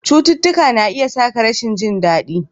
Cututtuka na iya sa ka rashin jin daɗi.